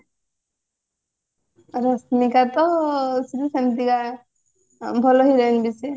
ରଶ୍ମିକା ତ ସେମତିକା ଭଲ heroin ବି ସିଏ